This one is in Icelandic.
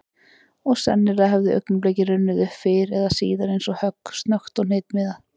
Og sennilega hefði augnablikið runnið upp fyrr eða síðar eins og högg, snöggt og hnitmiðað.